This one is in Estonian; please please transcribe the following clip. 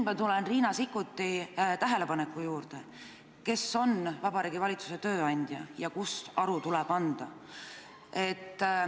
Ma tulen Riina Sikkuti tähelepaneku juurde, et kes on Vabariigi Valitsuse tööandja ja kus tuleb aru anda.